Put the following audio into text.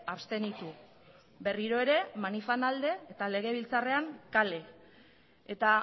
abstenitu berriro ere manifan alde eta legebiltzarrean kale eta